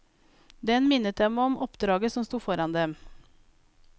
Den minnet dem om oppdraget som sto foran dem.